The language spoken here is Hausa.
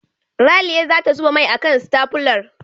Ralia za ta zuba mai a kan stafular.